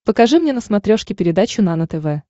покажи мне на смотрешке передачу нано тв